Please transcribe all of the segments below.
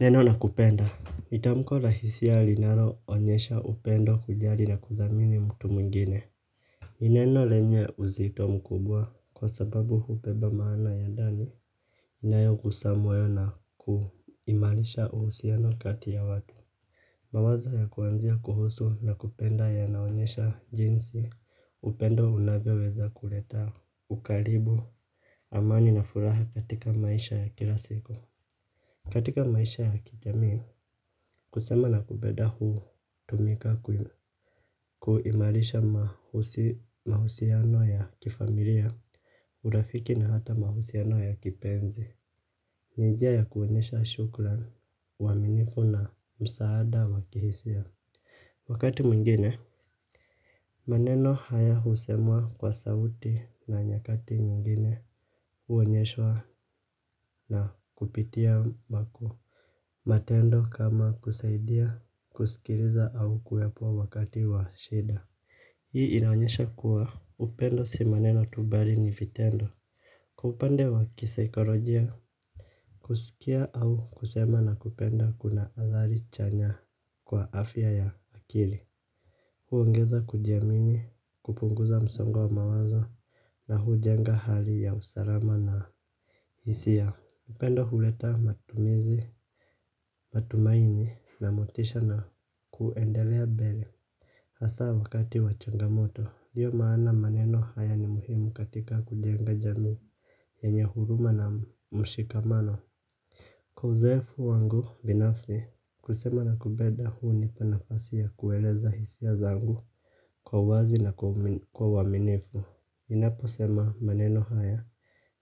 Neno nakupenda ni tamko la hisia linaloonyesha upendo kujali na kuthamini mtu mwingine ni neno lenye uzito mkubwa kwa sababu hubeba maana ya ndani. Inayokusemwa na kuimarisha uhusiano kati ya watu. Mawazo ya kuanzia kuhusu nakupenda yanaonyesha jinsi upendo unaweza kuleta Ukaribu Amani na furaha katika maisha ya kila siku. Katika maisha ya kijamii kusema nakupenda hutumika kuimarisha mahusiano ya kifamilia. Urafiki na hata mahusiano ya kipenzi. Ni njia ya kuonyesha shukran uaminifu na msaada wa kihisia. Wakati mwingine maneno haya husemwa kwa sauti na nyakati mwingine huonyeshwa na kupitia ambapo matendo kama kusaidia kusikiliza au kuyapa wakati wa shida. Hii inaonyesha kuwa upendo si maneno tu bali ni vitendo. Kwa upande wa kisaikolojia kusikia au kusema na kupenda kuna athari chanya kwa afya ya akili. Huongeza kujiamini kupunguza msongo wa mawazo na hujenga hali ya usalama na hisia. Upendo huleta matumizi, matumaini na motisha na kuendelea mbele. Hasa wakati wa changamoto, ndiyo maana maneno haya ni muhimu katika kujenga jamii yenye huruma na mshikamano. Kwa uzoefu wangu binafsi, kusema na kupenda hunipa nafasi ya kueleza hisia zangu kwa wazi na kwa uaminifu ninaposema maneno haya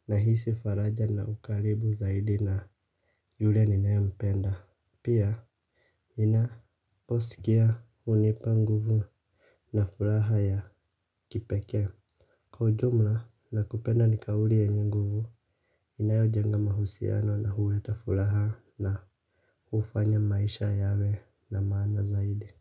nahisi faraja na ukaribu zaidi na yule ninayempenda. Pia ninaposikia hunipa nguvu na furaha ya kipekee. Kwa ujumla nakupenda ni kauli yenye nguvu inayojenga mahusiano na huleta furaha na hufanya maisha yawe na maana zaidi.